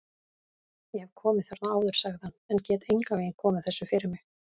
Ég hef komið þarna áður sagði hann, en get engan veginn komið þessu fyrir mig